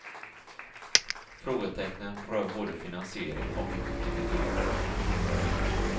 Frågetecknen rör både finansiering och effektivitet.